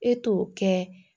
E t'o kɛ